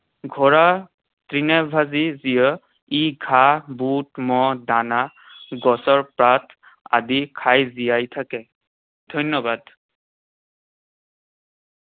ঘোঁৰা তৃণভোজী জীৱ। ই ঘাঁহ, বুট, দানা, গছৰ পাত আদি খাই জীয়াই থাকে। ধন্যবাদ।